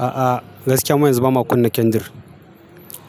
A'a, gaskiya mu yanzu ba ma kunna kendir,